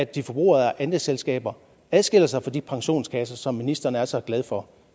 de forbrugerejede andelsselskaber adskiller sig fra de pensionskasser som ministeren er så glad for